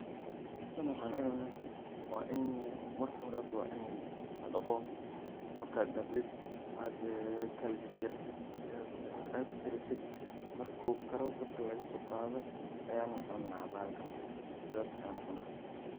Tan waxan ucuna, waa ini marki hore wa ini ladaqo, marka ad daqdid, ad kala jarjartit ad karisit, marku karo dabka lagasoqado ayan cuna bahalkan sidhas ayan ucuna.